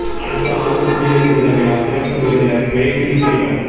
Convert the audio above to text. அடுத்த ஆண்டு குடியரசு தின விழா சிறப்பு விருந்தினா் பிரேசில் அதிபா்